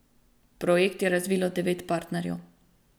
Projekt je razvilo devet partnerjev.